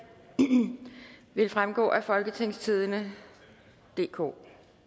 vil fremgå af folketingstidende DK